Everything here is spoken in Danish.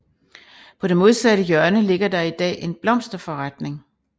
På det modsatte hjørne ligger der i dag en blomsterforretning